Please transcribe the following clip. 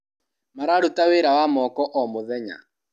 Mararuta wĩra wa moko o mũthenya.